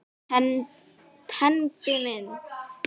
Tengdi minn.